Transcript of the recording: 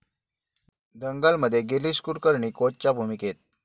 दंगल'मध्ये गिरीश कुलकर्णी कोचच्या भूमिकेत